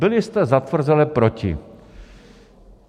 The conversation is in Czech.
Byli jste zatvrzele proti.